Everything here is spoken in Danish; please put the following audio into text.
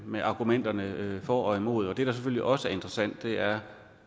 med argumenterne for og imod og det der selvfølgelig også er interessant er